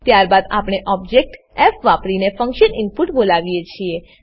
ત્યારબાદ આપણે ઓબજેક્ટ ફ વાપરીને ફંક્શન ઈનપુટ બોલાવીએ છીએ